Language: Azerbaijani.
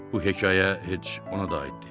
Bu hekayə heç ona da aid deyil.